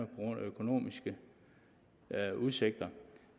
grund af økonomiske udsigter